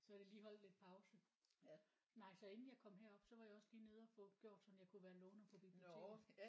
Så er det lige holdt lidt pause. Nej så inden jeg kom herop så var jeg også lige nede og få gjort sådan jeg kunne være låner på biblioteket